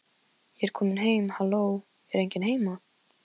Ég er komin heim halló, er enginn heima?